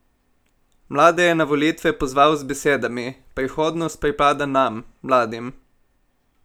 Mlade je na volitve pozval z besedami: "Prihodnost pripada nam, mladim.